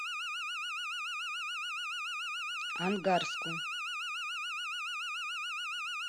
ангарску